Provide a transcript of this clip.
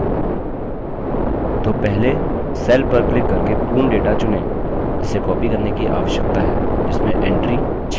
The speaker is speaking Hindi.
तो पहले cell पर क्लिक करके पूर्ण data चुनें जिसे copied करने की आवश्यकता है जिसमें entry 6000 है